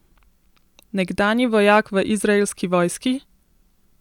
Nekdanji vojak v izraelski vojski?